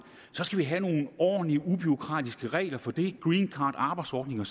så skal vi have nogle ordentlige og ubureaukratiske regler for det greencard og arbejdsordninger